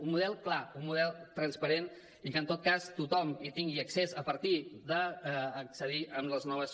un model clar un model transparent i que en tot cas tothom hi tingui accés a partir d’accedir amb les noves